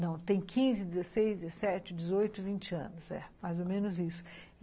Não, tem quinze, dezesseis, dezessete, dezoito, vinte anos, é, mais ou menos isso.